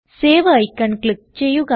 save icon click ചെയ്യുക